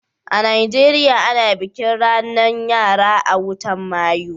a'Nijeriya, ana bikin ranan yara a'wotan Mayu.